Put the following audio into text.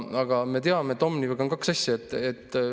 Aga me teame, et Omnivaga on kaks asja.